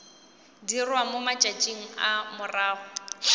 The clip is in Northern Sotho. dirwa mo matšatšing a morago